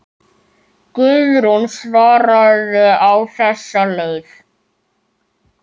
Guðrún svaraði á þessa leið.